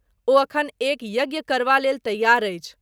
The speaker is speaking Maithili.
ओ अखन एक यज्ञ करबा लेल तैयार अछि।